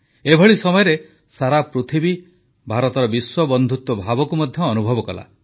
ଏଭଳି ସମୟରେ ସାରା ପୃଥିବୀ ଭାରତର ବିଶ୍ୱବନ୍ଧୁତ୍ୱ ଭାବକୁ ମଧ୍ୟ ଅନୁଭବ କଲା